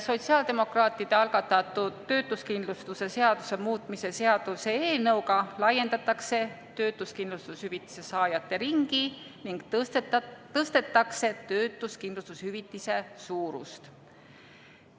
Sotsiaaldemokraatide algatatud töötuskindlustuse seaduse muutmise seaduse eelnõuga laiendatakse töötuskindlustushüvitise saajate ringi ning tõstetakse töötuskindlustushüvitise suurust.